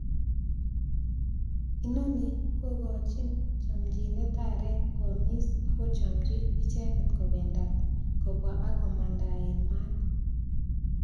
Inoni kokochin chomchinet areek koamis ak kochomchi icheket kobendat ,kobwa ak komandaen maat.